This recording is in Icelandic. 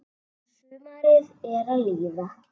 Sumarið er að líða.